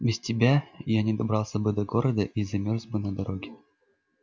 без тебя я не добрался бы до города и замёрз бы на дороге